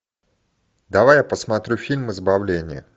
давай я посмотрю фильм избавление